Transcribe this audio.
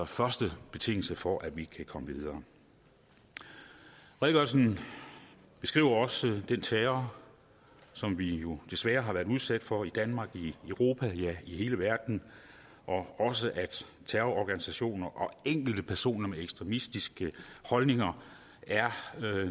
første betingelse for at vi kan komme videre redegørelsen beskriver også den terror som vi jo desværre har været udsat for i danmark i europa ja i hele verden og også at terrororganisationer og enkelte personer med ekstremistiske holdninger er